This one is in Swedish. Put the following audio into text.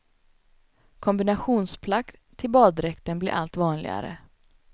Kombinationsplagg till baddräkten blir allt vanligare.